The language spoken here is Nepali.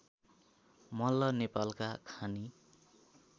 मल्ल नेपालका खानी